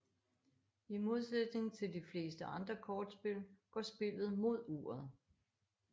I modsætning til de fleste andre kortspil går spillet mod uret